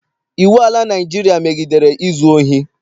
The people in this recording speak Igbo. Iwu ala Naịjirịa megidere izu ohi.